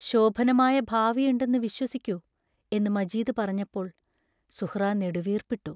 ശോഭനമായ ഭാവിയുണ്ടെന്നു വിശ്വസിക്കൂ, എന്ന് മജീദ് പറഞ്ഞപ്പോൾ സുഹ്റാ നെടുവീർപ്പിട്ടു.